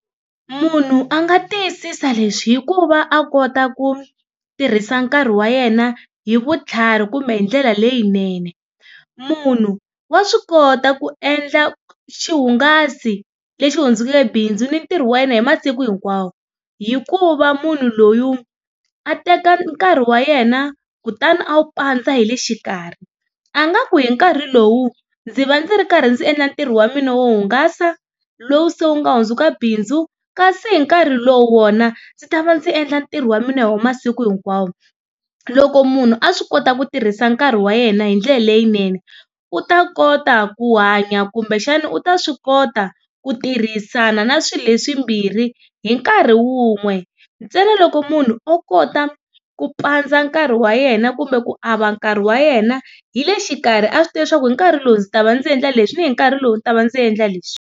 Munhu a nga tiyisisa leswi, hi ku va a kota ku tirhisa nkarhi wa yena hi vutlhari kumbe hi ndlela leyinene. Munhu wa swi kota ku endla xihungasi lexi hundzukeke bindzu ni ntirho wa yena hi masiku hinkwawo, hi ku va munhu loyi a teka nkarhi wa yena kutani a wu pandza hi le xikarhi. A nga ku hi nkarhi lowu ndzi va ndzi ri karhi ndzi endla ntirho wa mina wo hungasa, lowu se wu nga hundzuka bindzu kasi hi nkarhi lowu wona ndzi ta va ndzi endla ntirho wa mina wa masiku hinkwawo. Loko munhu a swi kota ku tirhisa nkarhi wa yena hi ndlela leyinene, u ta kota ku hanya kumbexana u ta swi kota ku tirhisana na swilo leswimbirhi hi nkarhi wun'we, ntsena loko munhu o kota ku pandza nkarhi wa yena kumbe ku ava nkarhi wa yena hi le xikarhi a swi tiva leswaku hi nkarhi lowu ndzi ta va ndzi endla leswi, ni hi nkarhi lowu ndzi ta va ndzi endla leswi.